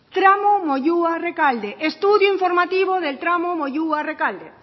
tramo moyua rekalde estudio informativo del tramo moyua rekalde